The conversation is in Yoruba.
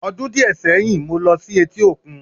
Ọdún díẹ̀ sẹ́yìn, mo ló sí etí òkun